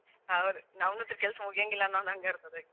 ಹೌದ್ ನಮ್ಮದು ಅಂತು ಕೆಲ್ಸಾ ಮುಗ್ಯಾಂಗ ಇಲ್ಲಾ ಅನ್ನು ಹಂಗ ಇರತದ.